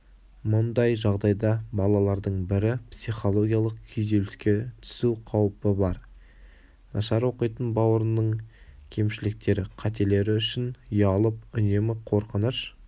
мұндай жағдайда балалардың бірі психологиялық күйзеліске түсу қаупі бар нашар оқитын бауырының кемшіліктері қателері үшін ұялып үнемі қорқыныш